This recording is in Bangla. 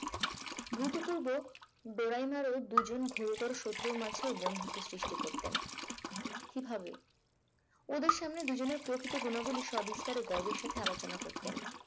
ধুতপূর্ব দোরাইনারে দুজন গুরুতর শত্রু মাঝে বন্ধুত্ব সৃষ্টি করতেন কিভাবে? ওদের সামনে দুজনের প্রকৃত গুণাবলীর সব বিস্তারে গর্ভের সাথে আলোচনা করতেন